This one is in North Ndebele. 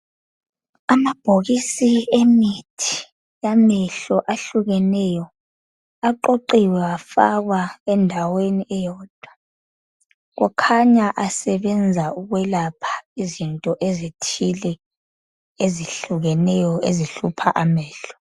amabhokisi emithi yamehlo ahlukeneyo aqoqiwe afakwa endaweni eyodwa kukhanya asetshenziswa ukulapha izinto ezithile ezihlukeneyo ezihlupha amehlo